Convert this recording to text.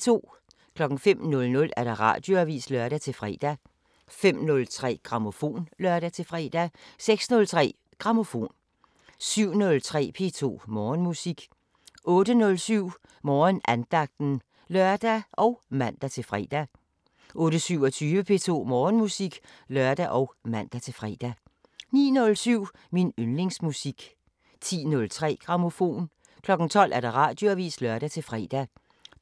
05:00: Radioavisen (lør-fre) 05:03: Grammofon (lør-fre) 06:03: Grammofon 07:03: P2 Morgenmusik 08:07: Morgenandagten (lør og man-fre) 08:27: P2 Morgenmusik (lør og man-fre) 09:07: Min yndlingsmusik 10:03: Grammofon 12:00: Radioavisen (lør-fre)